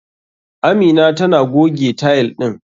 Amina tana goge tile ɗin.